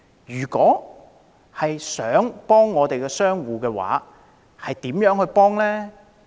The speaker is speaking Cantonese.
如想真正幫助商戶，又應該怎樣做？